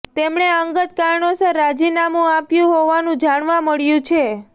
તેમણે અંગત કારણોસર રાજીનામું આપ્યું હોવાનું જાણવા મળ્યું છે